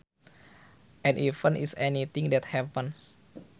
An event is anything that happens